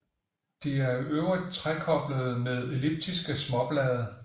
De er i øvrigt trekoblede med elliptiske småblade